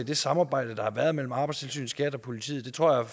det samarbejde der har været mellem arbejdstilsynet skat og politiet det tror jeg